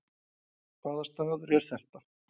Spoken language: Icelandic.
Hvaða staður er þetta